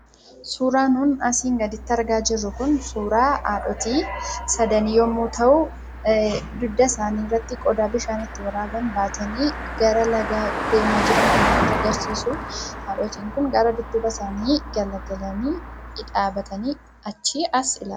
Suuraan nuun asii gadiitti argaa jirru kun suuraa haadhotii sadanii yommuu ta'u, dugda isaanii irratti qodaa bishaan itti waraaban baatanii gara lagaa deemaa jiran kan nutti agarsiisu, haadhotiin kun gara dudduuba isaanii galagalanii dhaabbatanii achii as ilaalaan.